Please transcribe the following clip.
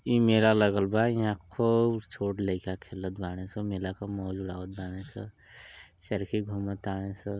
ई मेला लागल बा इंहा खूब छोट लईका खेलत बाड़े सं मेल के मौज उड़ावत बाने स। चरखी घूम तां स।